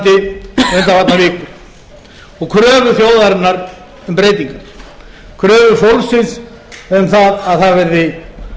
undanfarnar vikur og kröfur þjóðarinnar um breytingu kröfu fólksins um að það verði